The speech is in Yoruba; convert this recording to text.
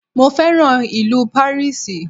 Mo féràn ìlú Pàríìsì.